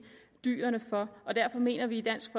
dyrene for derfor mener vi i dansk